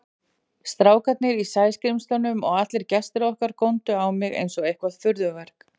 Strákarnir í Sæskrímslunum og allir gestirnir okkar góndu á mig einsog eitthvert furðuverk.